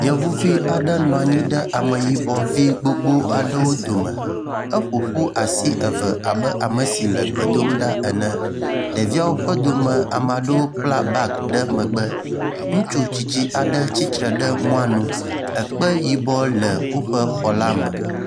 yevuvi aɖe nɔnyi ɖe ameyibɔ vi gbogbó aɖe dome eƒoƒu asi eve abe amesi le egbe dom ɖa ene ɖeviawo ƒe dome amaɖewo kpla bag ɖe megbe ŋutsu tsitsi aɖe tsitre ɖe wóƒe mɔ nu ekpe yibɔ aɖe le xɔa me